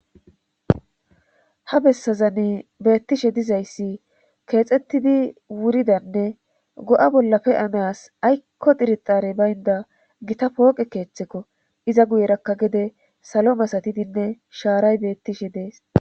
ha bessazane beettishe dizayssi keexxettidi wuridanne go7a bollape anaas aykko dirixare baynda gita pooqe keeththekko iza guyerakka gede salo masatidinne shaaray beettishe dees